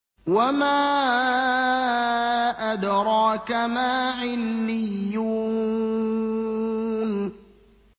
وَمَا أَدْرَاكَ مَا عِلِّيُّونَ